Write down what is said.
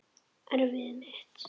Erfiði mitt.